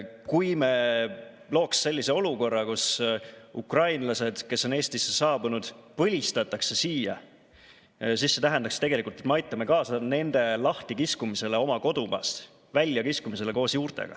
Kui me looksime sellise olukorra, kus ukrainlased, kes on Eestisse saabunud, põlistatakse siia, siis see tähendaks tegelikult seda, et me aitame kaasa nende lahtikiskumisele oma kodumaast, koos juurtega välja kiskumisele.